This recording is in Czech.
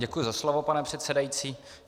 Děkuji za slovo, pane předsedající.